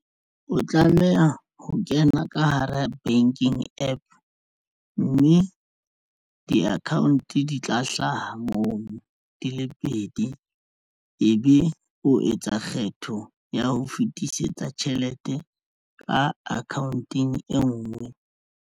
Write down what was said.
O tlameha ho kena ka hara banking APP mme di-account di tla hlaha moo di le pedi. Ebe o etsa kgetho ya ho fetisetsa tjhelete ka akhaonteng e nngwe.